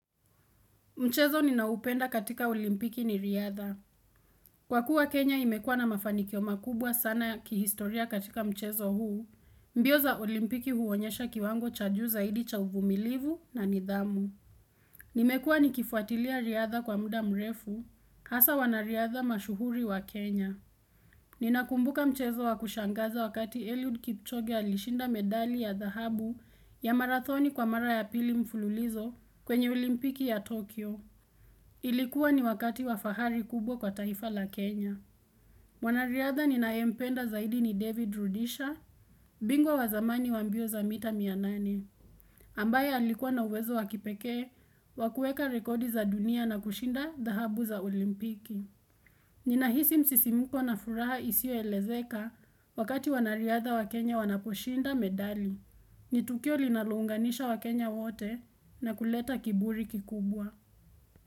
Mchezo ninaopenda katika olimpiki ni riadha. Kwa kuwa Kenya imekuwa na mafanikio makubwa sana kihistoria katika mchezo huu, mbio za olimpiki huonyesha kiwango cha juu zaidi cha uvumilivu na nidhamu. Nimekuwa nikifuatilia riadha kwa muda mrefu, hasa wanariadha mashuhuri wa Kenya. Ninakumbuka mchezo wa kushangaza wakati Eliud Kipchoge alishinda medali ya dhahabu ya marathoni kwa mara ya pili mfululizo kwenye olimpiki ya Tokyo. Ilikuwa ni wakati wa fahari kubwa kwa taifa la Kenya. Mwanariadha ninayempenda zaidi ni David Rudisha, bingwa wa zamani wa mbio za mita mia nane, ambaye alikuwa na uwezo wa kipekee wa kueka rekodi za dunia na kushinda dhahabu za olimpiki. Ninahisi msisimuko na furaha isio elezeka wakati wanariadha wa Kenya wanaposhinda medali. Ni tukio linalounganisha waKenya wote na kuleta kiburi kikubwa.